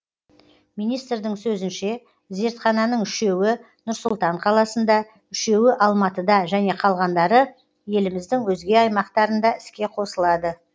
министрдің сөзінше зертхананың үшеуі нұр сұлтан қаласында үшеуі алматыда және қалғандары еліміздің өзге аймақтарында іске қосылады